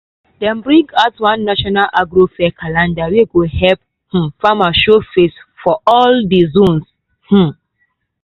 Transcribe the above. dem bring out one national agro fair calendar wey go help um farmers show face for all di zones. um